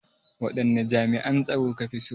Waɗanne jami'an tsaro ka fi so?